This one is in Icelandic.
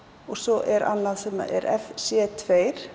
og svo er annað sem er f c tvö